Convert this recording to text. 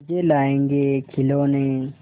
चीजें लाएँगेखिलौने